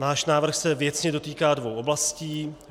Náš návrh se věcně dotýká dvou oblastí.